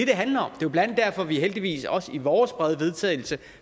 det handler om det er blandt andet derfor at vi heldigvis også i vores brede vedtagelsestekst